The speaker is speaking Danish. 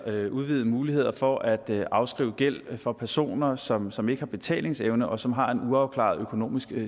udvidede muligheder for at afskrive gæld for personer som som ikke har betalingsevne og som har en uafklaret økonomisk